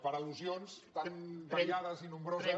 per al·lusions tan variades i nombroses